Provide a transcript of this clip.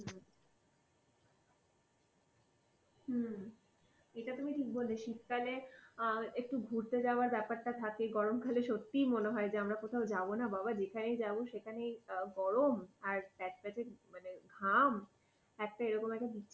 এটা তুমি ঠিক বললে, শীতকালে একটু ঘুরতে যাবার ব্যাপারটা থাকে, গরম সত্যি মনে হয় যে আমরা কোথাও যাবো না বাবা যেখানেই যাব সেখানেই গরম আর প্যাচপ্যাঁচে মানে ঘাম। একটা এরকম একটা